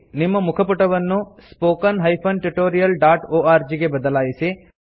ನಿಮ್ಮ ಮುಖ ಪುಟವನ್ನು spoken tutorialಒರ್ಗ್ ಗೆ ಬದಲಾಯಿಸಿ